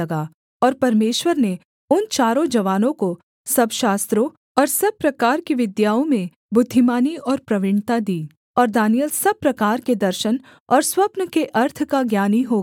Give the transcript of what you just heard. और परमेश्वर ने उन चारों जवानों को सब शास्त्रों और सब प्रकार की विद्याओं में बुद्धिमानी और प्रवीणता दी और दानिय्येल सब प्रकार के दर्शन और स्वप्न के अर्थ का ज्ञानी हो गया